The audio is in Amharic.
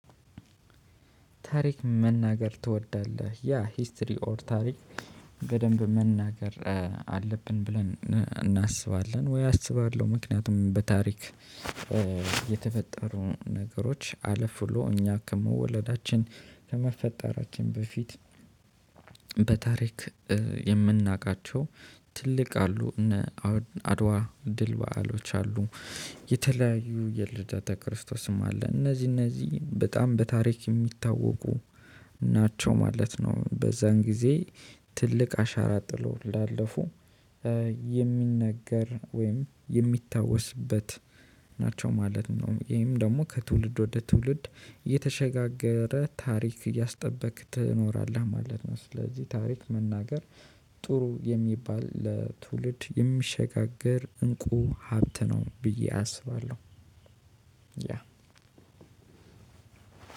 ታሪክ መናገር ትወዳለህ ያ ሂስትሪ ኦር ታሪክ በደንብ መናገር አለብን ብለን እናስባለን ወይ አስባለሁ? ምክንያቱም በታሪክ የተፈጠሩ ነገሮች አለፍ ብሎ እኛ ከመወለዳችን ከመፈጠራችን በፊት። በታሪክ የምናውቃቸው ትልቅ አሉ እነ አድዋ ድል በዓሎች አሉ። የተለያዩ የልደተ ክርስቶስም አለ እነዚህ እነዚህ በጣም በታሪክ የሚታወቁ ናቸው ማለት ነው። በዛን ጊዜ ትልቅ አሻራ ጥሎ ላለፉ የሚነገር ወይም የሚታወስበት ናቸው ማለት ነው። ይሄም ደግሞ ከትውልድ ወደ ትውልድ የተሸጋገረ ታሪክ እያስጠበክ ትኖራለህ ማለት ነው። ስለዚህ ታሪክ መናገር ጥሩ የሚባል ለትውልድ የሚሸጋገር እንቁ ሀብት ነው። ብዬ አስባለሁ።